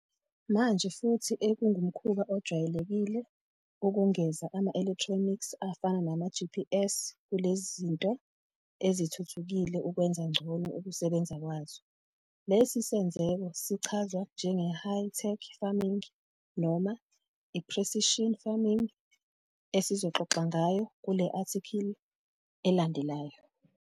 Manje futhi ekungumkhuba ojwayelekile ukungeza ama-electronics afana nama-GPS kulezi zinto ezithuthukile ukwenza ngcono ukusebenza kwazo. Lesi senzeko sichazwa njenge-high tech farming noma i-precision farming esizoxoxa ngayo kule athikhili elandelayo.